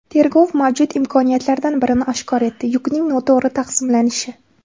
Tergov mavjud imkoniyatlardan birini oshkor etdi yukning noto‘g‘ri taqsimlanishi.